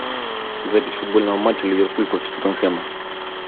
запись футбольного матча ливерпуль против тоттенхэма